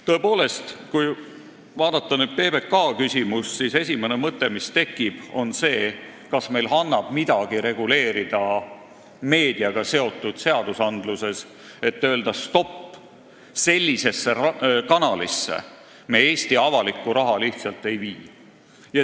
Tõepoolest, kui vaadata PBK küsimust, siis esimene mõte, mis tekib, on see, kas meil annab midagi reguleerida meediaga seotud seadustes, et öelda: stopp, sellisesse kanalisse me Eesti avalikku raha lihtsalt ei vii.